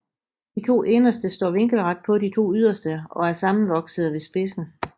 De to inderste står vinkelret på de to yderste og er sammenvoksede ved spidsen